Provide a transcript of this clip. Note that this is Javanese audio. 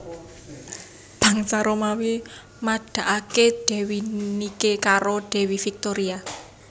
Bangsa Romawi madakake Dewi Nike karo Dewi Victoria